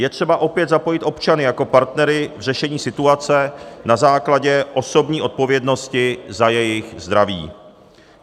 Je třeba opět zapojit občany jako partnery k řešení situace na základě osobní odpovědnosti za jejich zdraví.